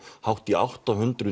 hátt í átta hundruð